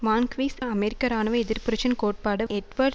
மான்க்விஸ் அமெரிக்க இராணுவ எதிர்ப்புரட்சியின் கோட்பாட்டு எட்வர்ட்